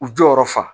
U jɔyɔrɔ fa